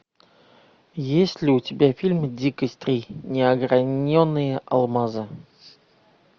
есть ли у тебя фильм дикость три неограненные алмазы